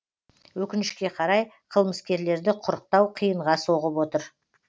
өкінішке қарай қылмыскерлерді құрықтау қиынға соғып отыр